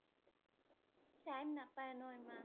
time নাপাই ন ইমান